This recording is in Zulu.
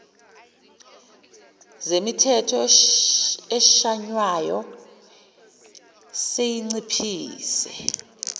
zemithetho eshaywayo seyinciphise